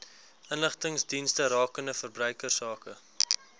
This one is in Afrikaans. inligtingsdienste rakende verbruikersake